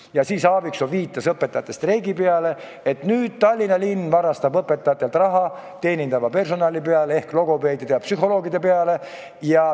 Ja siis Aaviksoo viitas õpetajate streigi peale, et nüüd Tallinna linn varastab õpetajatelt raha ja see läheb teenindava personali ehk logopeedide ja psühholoogide peale.